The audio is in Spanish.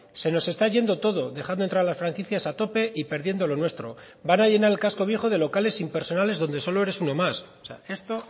se no está yendo todo dejando entrar a las franquicias a tope y perdiendo lo nuestro van a llenar el casco viejo de locales impersonales donde solo eres uno más esto